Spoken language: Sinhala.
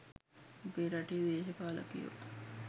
අපේ රටේ දේශපාලකයෝ